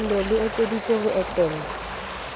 ndoh le etseditswe ho etella